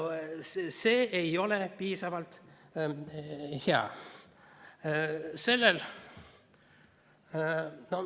See ei ole piisavalt hea.